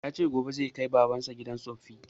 Ya ce gobe zai kai baban sa gidan tsoffi